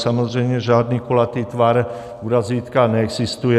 Samozřejmě žádný kulatý tvar u razítka neexistuje.